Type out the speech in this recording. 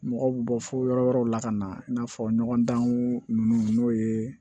Mɔgɔw bɛ bɔ fo yɔrɔ wɛrɛw la ka na i n'a fɔ ɲɔgɔndanw n'o ye